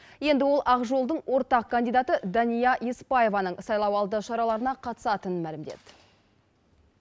енді ол ақ жолдың ортақ кандидаты дания еспаеваның сайлауалды шараларына қатысатынын мәлімдеді